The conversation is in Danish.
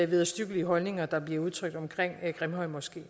vederstyggelige holdninger der bliver udtrykt omkring grimhøjmoskeen